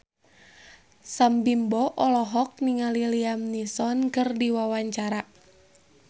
Sam Bimbo olohok ningali Liam Neeson keur diwawancara